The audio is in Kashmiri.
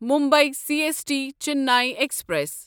Mumbai C S T Chennai express